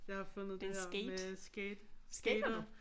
Jeg har fundet det her med skate skatere